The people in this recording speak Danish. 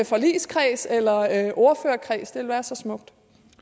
forligskreds eller ordførerkreds det være så smukt